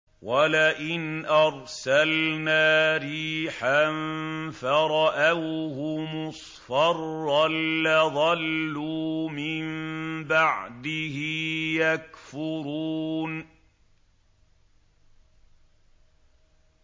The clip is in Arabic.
وَلَئِنْ أَرْسَلْنَا رِيحًا فَرَأَوْهُ مُصْفَرًّا لَّظَلُّوا مِن بَعْدِهِ يَكْفُرُونَ